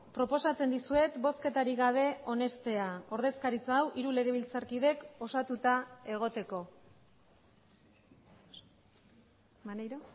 proposatzen dizuet bozketarik gabe onestea ordezkaritza hau hiru legebiltzarkidek osatuta egoteko maneiro